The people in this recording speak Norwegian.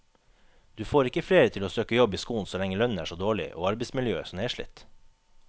Du får ikke flere til å søke jobb i skolen så lenge lønnen er så dårlig og arbeidsmiljøet så nedslitt.